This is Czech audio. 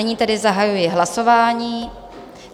Nyní tedy zahajuji hlasování.